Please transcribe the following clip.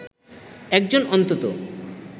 একজন অন্তত